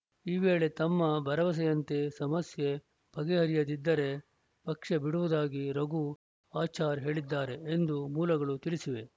ಈ ವೇಳೆ ತಮ್ಮ ಭರವಸೆಯಂತೆ ಸಮಸ್ಯೆ ಬಗೆಹರಿಯದಿದ್ದರೆ ಪಕ್ಷ ಬಿಡುವುದಾಗಿ ರಘು ಆಚಾರ್‌ ಹೇಳಿದ್ದಾರೆ ಎಂದು ಮೂಲಗಳು ತಿಳಿಸಿವೆ